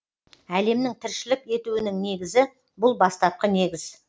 әлемнің тіршілік етуінің негізі бұл бастапқы негіз